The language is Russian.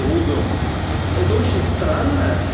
другом это очень странно